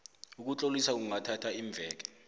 ukutlolisa kungathatha iimveke